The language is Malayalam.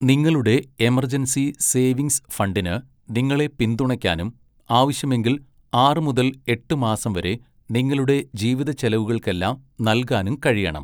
നിങ്ങളുടെ എമർജൻസി സേവിംഗ്സ് ഫണ്ടിന് നിങ്ങളെ പിന്തുണയ്ക്കാനും ആവശ്യമെങ്കിൽ ആറ് മുതൽ എട്ട് മാസം വരെ നിങ്ങളുടെ ജീവിതച്ചെലവുകൾക്കെല്ലാം നൽകാനും കഴിയണം.